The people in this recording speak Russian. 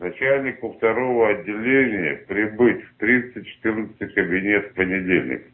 начальнику второго отделения прибыть в триста четырнадцатый кабинет в понедельник